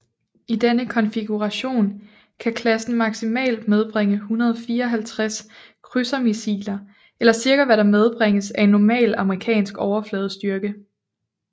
I denne konfiguration kan klassen maksimalt medbringe 154 krydsermissiler eller cirka hvad der medbringes af en normal amerikansk overfladestyrke